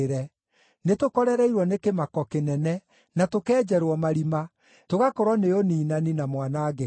Nĩtũkorereirwo nĩ kĩmako kĩnene, na tũkenjerwo marima, tũgakorwo nĩ ũniinani, na mwanangĩko.”